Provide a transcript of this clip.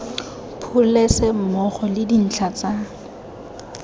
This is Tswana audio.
pholese mmogo le dintlha tsa